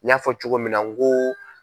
N y'a fɔ cogo min na n ko